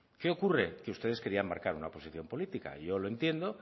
qué ocurre que ustedes querían marcar una oposición política yo lo entiendo